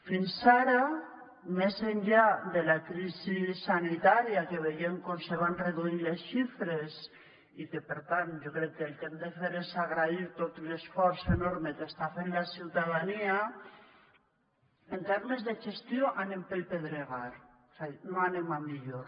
fins ara més enllà de la crisi sanitària que veiem com se van reduir les xifres i que per tant jo crec que el que hem de fer és agrair tot l’esforç enorme que està fent la ciutadania en termes de gestió anem pel pedregar és a dir no anem a millor